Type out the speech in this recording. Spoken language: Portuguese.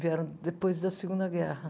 Vieram depois da Segunda Guerra.